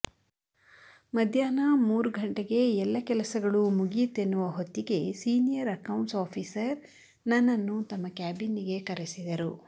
ಮಧ್ಯಾಹ್ನ ಮೂರು ಘಂಟೆಗೆ ಎಲ್ಲ ಕೆಲಸಗಳೂ ಮುಗಿಯಿತೆನ್ನುವ ಹೊತ್ತಿಗೆ ಸೀನಿಯರ್ ಅಕೌಂಟ್ಸ್ ಆಫೀಸರ್ ನನ್ನನ್ನು ತಮ್ಮ ಕ್ಯಾಬಿನ್ನಿಗೆ ಕರೆಸಿದರು